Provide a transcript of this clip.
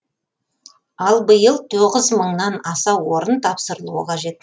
ал биыл тоғыз мыңнан аса орын тапсырылуы қажет